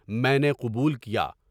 میں نے قبول کیا۔